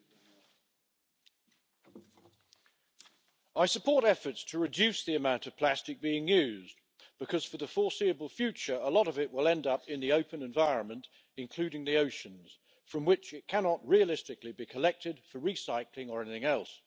Mr President, I support efforts to reduce the amount of plastic being used because, for the foreseeable future, a lot of it will end up in the open environment, including the oceans, from which it cannot realistically be collected for recycling or anything else.